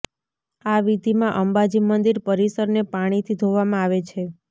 આ વિધીમાં અંબાજી મંદિર પરીસરને પાણીથી ધોવામાં આવે છે